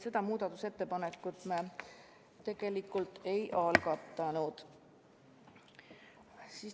Seda muudatusettepanekut me seega ei algatanud.